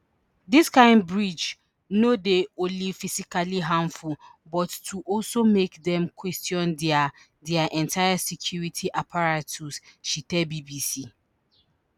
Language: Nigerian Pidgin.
dis kain breach no dey only physically harmful but go also make dem question dia dia entire security apparatus she tell bbc